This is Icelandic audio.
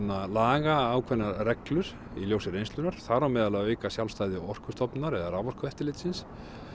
laga ákveðnar reglur í ljósi reynslunnar þar á meðal að auka sjálfstæði Orkustofnunar eða raforkueftirlitsins